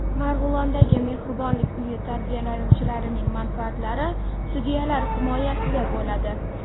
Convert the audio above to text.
Marg‘ilondagi Mehribonlik uyi tarbiyalanuvchilarining manfaatlari sudyalar himoyasida bo‘ladi.